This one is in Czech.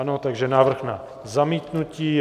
Ano, takže návrh na zamítnutí.